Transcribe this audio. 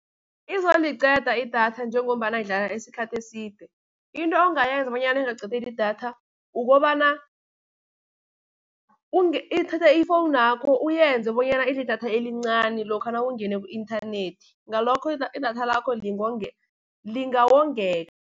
Izoliqeda idatha njengombana idlala isikhathi eside, into ongayenza bonyana ingakuqedeli idatha, ukobana thatha ifowunakho uyenze bonyana idle idatha elincani lokha nawungene ku-inthanethi, ngalokho idatha lakho lingawongeka.